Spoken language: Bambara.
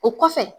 O kɔfɛ